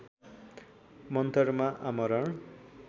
मन्तरमा आमरण